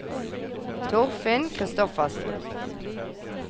Torfinn Kristoffersen